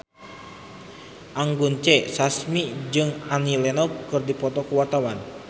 Anggun C. Sasmi jeung Annie Lenox keur dipoto ku wartawan